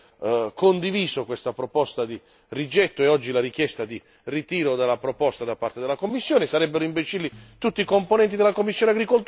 sarebbero imbecilli tutti i gruppi politici che hanno condiviso questa proposta di rigetto e oggi la richiesta di ritiro della proposta da parte della Commissione